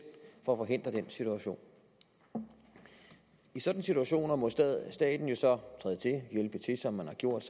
forhindre den situation i sådanne situationer må staten jo så træde til hjælpe til som man har gjort